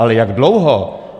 Ale jak dlouho?